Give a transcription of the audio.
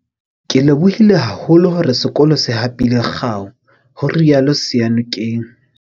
Ke lebohile haholo hore sekolo se hapile kgao, ho rialo Seyanokeng.